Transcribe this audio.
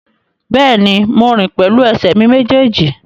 Bẹ́ẹ̀ni, mo rìn pẹ̀lú ẹsẹ̀ mi méjèèjì